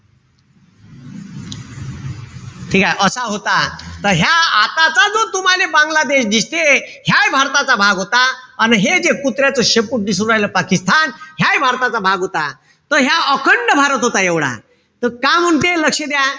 ठीकेय? असा होता. त ह्या आताचा जो तुम्हाले बांग्लादेश दिसते. ह्यायी भारताचा भाग होता. अन हे जे कुत्र्याचं शेपूट दिसू राहील पाकिस्तान. ह्यायी भारताचा भाग होता. त ह्या अखंड भारत होता एवढा. त का म्हणते, लक्ष द्या.